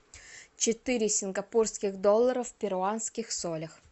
четыре сингапурских доллара в перуанских солях